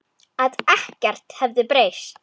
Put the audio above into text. Að ekkert hefði breyst.